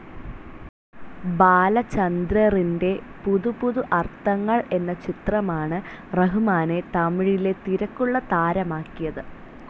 ബാലചന്ദ്രറിന്റെ പുതു പുതു അർത്ഥങ്ങൾ എന്ന ചിത്രമാണ് റഹ്മാനെ തമിഴിലെ തിരക്കുള്ള താരമാക്കിയത്.